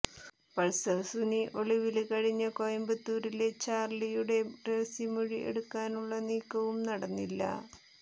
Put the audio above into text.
Pulsar Suni ഒളിവിനല് കഴിഞ്ഞ കോയമ്പത്തൂരിലെ ചാര്ളിയുടെ രഹസ്യമൊഴി എടുക്കാനുളള നീക്കവും നടന്നില്ല